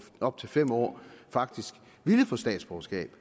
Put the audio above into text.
op til fem år faktisk ville få statsborgerskab